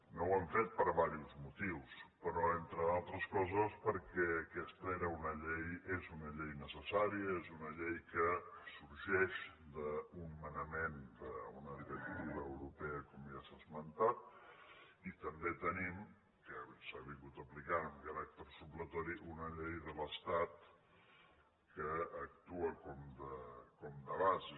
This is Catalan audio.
no ho hem fet per diversos motius però entre altres coses perquè aquesta és una llei necessària és una llei que sorgeix d’un manament d’una directiva europea com ja s’ha esmentat i també tenim que s’ha aplicat amb caràcter supletori una llei de l’estat que actua com de bases